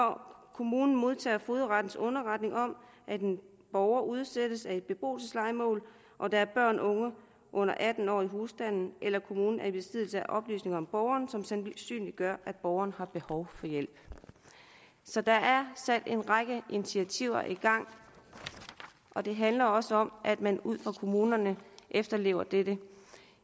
kommunen modtager fogedrettens underretning om at en borger udsættes af et beboelseslejemål og der er børn under atten år i husstanden eller når kommunen er i besiddelse af oplysninger om borgeren som sandsynliggør at borgeren har behov for hjælp så der er sat en række initiativer i gang og det handler også om at man ude i kommunerne efterlever det